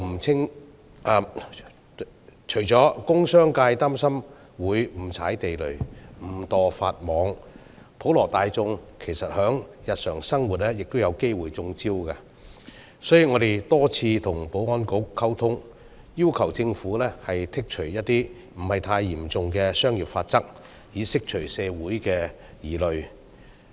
除工商界擔心會誤踩地雷、誤墮法網外，普羅大眾在日常生活亦有機會"中招"，所以我們多次與保安局溝通，要求政府剔除部分不太嚴重的商業法則，以釋除社會的疑慮。